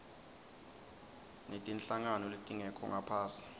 netinhlangano letingekho ngaphasi